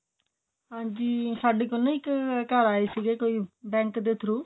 ਹਾਂਜੀ ਸਾਡੇ ਕੋਲ ਨਾ ਇੱਕ bank ਆਲੇ ਆਏ ਸੀ ਕੋਈ bank ਦੇ through